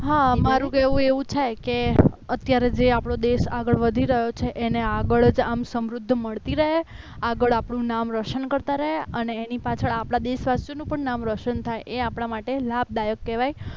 હા મારું કહેવું એવું છે કે અત્યારે જે આપણો દેશ આગળ વધી રહ્યો છે એને આગળ જ આમ સમૃદ્ધિ મળતી રહે છે આગળ આપણું નામ રોશન કરતા રહે અને આપણા એની પાછળ આપણા દેશનું પણ નામ રોશન થાય એ આપણા માટે લાભદાયક કહેવાય